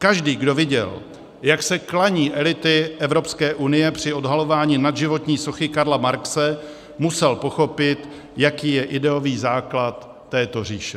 Každý, kdo viděl, jak se klaní elity Evropské unie při odhalování nadživotní sochy Karla Marxe, musel pochopit, jaký je ideový základ této říše.